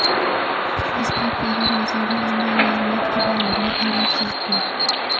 speed پیغام رسانی اور نئی معلومات کے بارے میں الرٹ صارفین